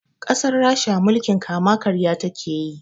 Ƙasar rasha mulkin kama karya takeyi